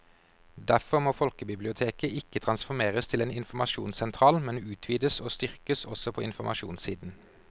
Derfor må folkebiblioteket ikke transformeres til en informasjonssentral, men utvides og styrkes også på informasjonssiden.